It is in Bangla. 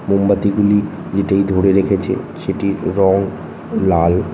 মোমবাতি গুলি যেটাই ধরে রেখেছে সেটির রং লাল।